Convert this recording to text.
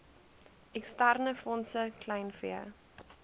eksterne fondse kleinvee